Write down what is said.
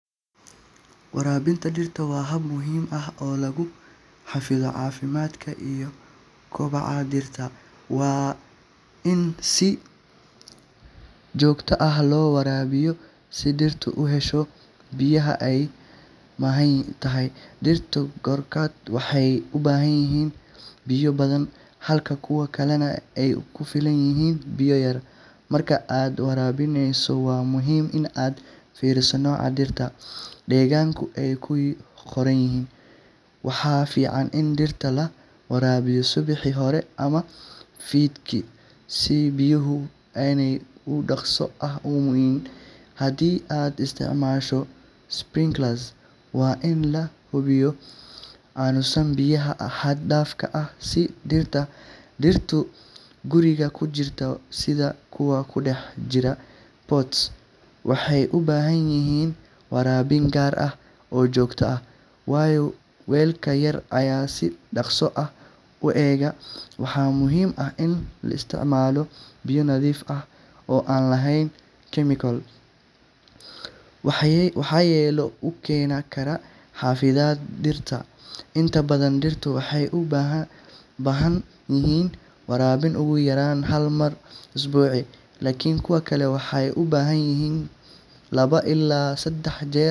Waraabinta dhirta waa hab muhiim ah oo lagu xafido caafimaadka iyo koboca dhirta. Waa in si joogto ah loo waraabiyaa si dhirtu u hesho biyaha ay u baahan tahay. Dhirta qaarkood waxay u baahan yihiin biyo badan, halka kuwa kalena ay ku filan yihiin biyo yar. Marka aad waraabinayso, waa muhiim in aad fiiriso nooca dhirta iyo deegaanka ay ku korayaan. Waxaa fiican in dhirta la waraabiyo subaxii hore ama fiidkii si biyuhu aanay si dhakhso ah u uumiyin. Haddii aad isticmaashay sprinkler, waa in la hubiyaa inuusan biyaha xad dhaaf ah siin dhirta. Dhirta guriga ku jirta, sida kuwa ku dhex jira pot, waxay u baahan yihiin waraabin gaar ah oo joogto ah, waayo weelka yar ayaa si dhakhso ah u engega. Waxaa muhiim ah in la isticmaalo biyo nadiif ah oo aan lahayn chemical-o waxyeello u keeni kara xididada dhirta. Inta badan dhirta waxay u baahan yihiin waraabin ugu yaraan hal mar usbuucii, laakiin kuwa kale waxay u baahan karaan laba ilaa saddex jeer .